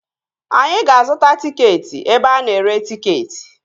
Anyị ga-azuta tịketị ebe ana ere tịketị